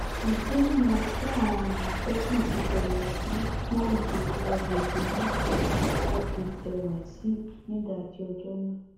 ìdí nìyẹn tí àwọn àmọtẹkùn fi bẹrẹ sí í pòòyì àgbègbè náà títí tọwọ fi tẹ wáṣíù nídàájí ọjọ náà